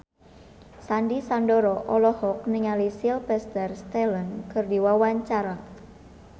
Sandy Sandoro olohok ningali Sylvester Stallone keur diwawancara